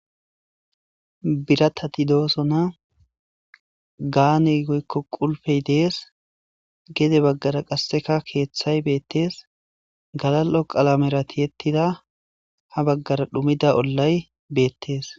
biratati doosona gaani goykko qulfey dees gede baggara qasseka keeththay beettees galal7o qalamerati yettida ha baggara dhumida ollay beettes